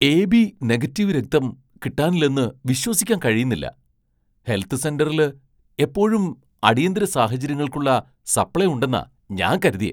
AB negative രക്തം കിട്ടാനില്ലെന്ന് വിശ്വസിക്കാൻ കഴിയുന്നില്ല. ഹെൽത്ത് സെന്ററില് എപ്പോഴും അടിയന്തിര സാഹചര്യങ്ങൾക്കുള്ള സപ്ലൈ ഉണ്ടെന്നാ ഞാൻ കരുതിയേ.